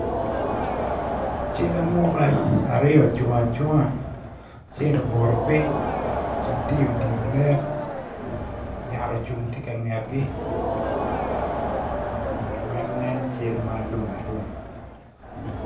Cal amuka aryo ocung acunga, acel obuto piny gitye idye olet yat ocung tye ka ngetgi weng nen cal ma alum alum